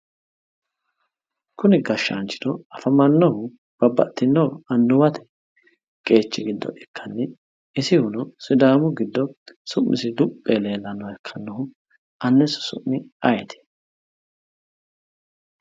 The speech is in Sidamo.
Kunni gashshaanchino afamannohu babbaxxino annuwate qeechi giddo ikkanni isihuno sidaamu giddo su'misi luphi yee leellannoha ikkannohu annisi su'mi ayiiti?